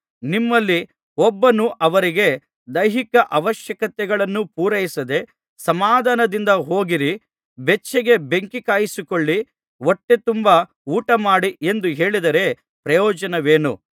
ನಿಮ್ಮಲ್ಲಿ ಒಬ್ಬನು ಅವರಿಗೆ ದೈಹಿಕ ಅವಶ್ಯಕತೆಗಳನ್ನು ಪೂರೈಸದೆ ಸಮಾಧಾನದಿಂದ ಹೋಗಿರಿ ಬೆಚ್ಚಗೆ ಬೆಂಕಿಕಾಯಿಸಿಕೊಳ್ಳಿ ಹೊಟ್ಟೆ ತುಂಬಾ ಊಟಮಾಡಿ ಎಂದು ಹೇಳಿದರೆ ಪ್ರಯೋಜನವೇನು